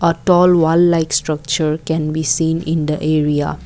a tall wall like structure can be seen in the area.